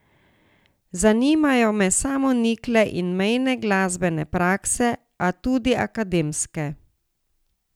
Zanimajo me samonikle in mejne glasbene prakse, a tudi akademske.